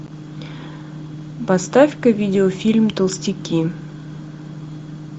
поставь ка видео фильм толстяки